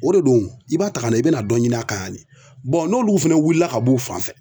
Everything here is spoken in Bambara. O de don i b'a ta ka na i be na dɔ ɲini a kan yan de bɔn n'olu fana wulila ka b'u fan fɛ